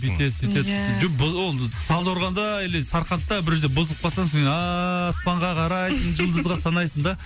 бүйтеді сөйтеді ия жоқ бұл ол талдықорғанда или сарқандта бір жерде бұзылып қалсаң сосын аспанға қарайсың жұлдызға санайсың да